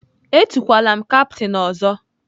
Etukwala m kaptain ọzọ!